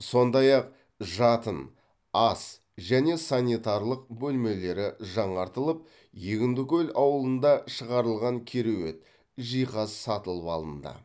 сондай ақ жатын ас және санитарлық бөлмелері жаңартылып егіндікөл ауылында шығарылған кереует жиһаз сатылып алынды